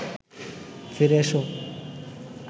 ফিরে এসো